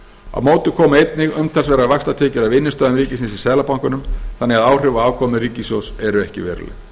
á móti koma einnig umtalsverðar vaxtatekjur af innstæðum ríkisins í seðlabankanum þannig að áhrif á afkomu ríkissjóðs eru ekki veruleg